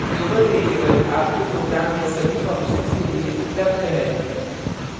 global variable आपके program में सभी functions के लिए उपलब्ध है